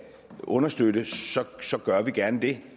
understøtte gør vi gerne det